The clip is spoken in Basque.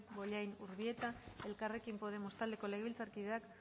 bollain urbieta elkarrekin podemos taldeko legebiltzarkideak